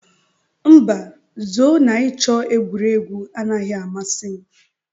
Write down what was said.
Mba, zoo na ịchọ egwuregwu anaghị amasị m.